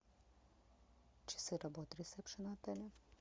часы работы ресепшена отеля